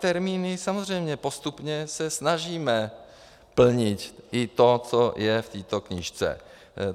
Termíny, samozřejmě postupně se snažíme plnit i to, co je v této knížce.